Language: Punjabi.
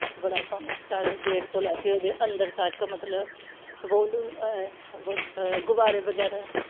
ਬੜਾ ਸੋਹਣਾ ਸਜਾਇਆ ਸੀ ਗੇਟ ਤੇ ਲਾਕੇ ਓਦੇ ਅੰਦਰ ਤੱਕ ਮਤਲਬ golden ਏ ਗੋਲ੍ਡ ਗੁਬਾਰੇ ਵਗੈਰਾ